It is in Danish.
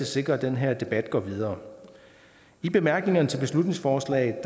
sikre at den her debat går videre i bemærkningerne til beslutningsforslaget